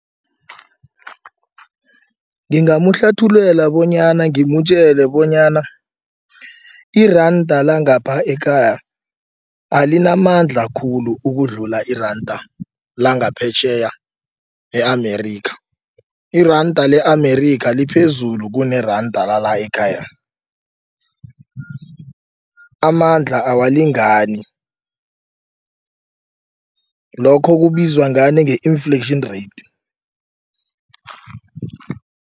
Ngingamhlathululela bonyana ngimtjele bonyana iranda langapha ekhaya alinamandla khulu ukudlula iranda langaphetjheya e-Amerika. Iranda le-Amerika liphezulu kuneranda lala ekhaya amandla awalingani lokho kubizwa ngani nge-inflation rate.